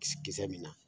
Kisi kisɛ min na